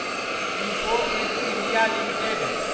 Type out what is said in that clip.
info Edge India limited